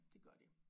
Det gør de